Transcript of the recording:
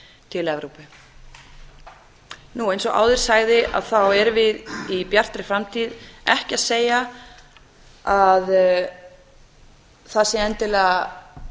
til evrópu eins og áður sagði erum við í bjartri framtíð ekki að segja að það sé endilega